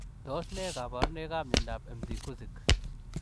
Tos ne kabarunoik ap miondoop Mcgusik ?